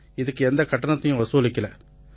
இதுக்கு எந்தக் கட்டணத்தையும் வசூலிக்கலை